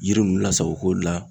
Yiri ninnu lasago ko la